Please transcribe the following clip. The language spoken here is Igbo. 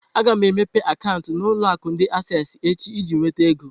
Aga m emepe akaụntụ na ulo akụ ndi Asessi echi iji nweta ego.